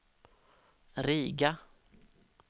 Riga